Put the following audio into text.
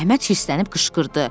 Əhməd hirslənib qışqırdı.